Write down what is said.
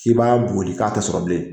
I b'a boli k'a tɛ sɔrɔ bilen